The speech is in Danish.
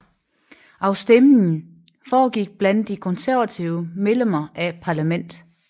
Afstemningen foregik blandt de konservative medlemmer af parlamentet